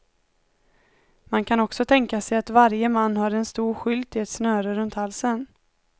Man kan också tänka sig att varje man har en stor skylt i ett snöre runt halsen.